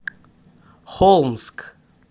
холмск